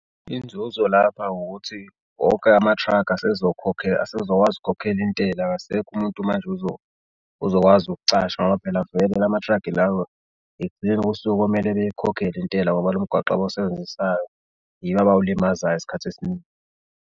Inzuzo lapha ukuthi wonke ama-truck asezokwazi ukhokhela intela akasekho umuntu manje ozokwazi ukucasha ngoba phela vele lamathragi lawa ekugcineni kosuku komele beyikhokhele intela ngoba lomgwaqo abawusebenzisayo yibo abawulimazayo isikhathi esiningi.